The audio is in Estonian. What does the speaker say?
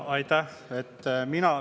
Aitäh!